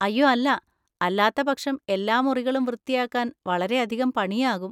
അയ്യോ അല്ല; അല്ലാത്തപക്ഷം എല്ലാ മുറികളും വൃത്തിയാക്കാൻ വളരെയധികം പണിയാകും!